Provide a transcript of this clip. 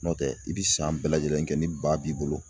Nɔtɛ i bi san bɛɛ lajɛlen kɛ ni ba b'i bolo